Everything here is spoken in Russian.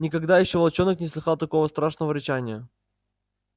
никогда ещё волчонок не слыхал такого страшного рычания